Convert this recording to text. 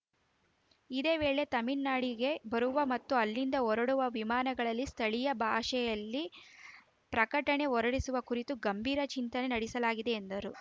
ಇದೇ ವೇಳೆ ತಮಿಳುನಾಡಿಗೆ ಬರುವ ಮತ್ತು ಅಲ್ಲಿಂದ ಹೊರಡುವ ವಿಮಾನಗಳಲ್ಲಿ ಸ್ಥಳೀಯ ಭಾಷೆಯಲ್ಲಿ ಪ್ರಕಟಣೆ ಹೊರಡಿಸುವ ಕುರಿತು ಗಂಭೀರ ಚಿಂತನೆ ನಡೆಸಲಾಗಿದೆ ಎಂದರು